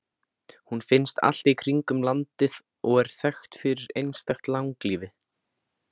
Hún finnst allt í kringum landið og er þekkt fyrir einstakt langlífi.